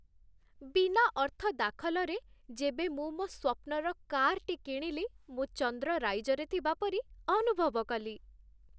ବିନା ଅର୍ଥ ଦାଖଲରେ ଯେବେ ମୁଁ ମୋ ସ୍ୱପ୍ନର କାର୍‌ଟି କିଣିଲି, ମୁଁ ଚନ୍ଦ୍ର ରାଇଜରେ ଥିବା ପରି ଅନୁଭବ କଲି।